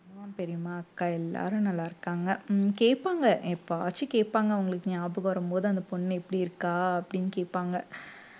உம் பெரியம்மா அக்கா எல்லாரும் நல்லா இருக்காங்க உம் கேட்பாங்க எப்பவாச்சும் கேட்பாங்க அவங்களுக்கு ஞாபகம் வரும்போது அந்த பொண்ணு எப்படி இருக்கா அப்படின்னு கேட்பாங்க